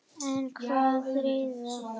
En hvað þýðir svarið?